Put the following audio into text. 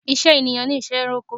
Ìṣe ẹ̀yàn ni ìṣe ẹranko.